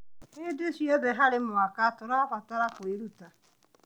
Hĩndĩ ciothe harĩ mwaka, tũrabatara kwĩruta.